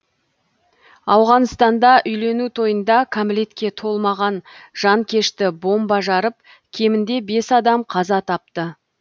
ауғанстанда үйлену тойында кәмелетке толмаған жанкешті бомба жарып кемінде бес адам қаза тапты